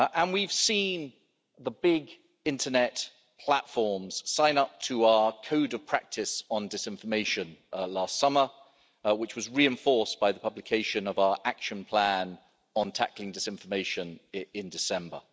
We've seen the big internet platforms sign up to our Code of practice on disinformation, last summer, which was reinforced by the publication of our Action Plan on tackling disinformation in December.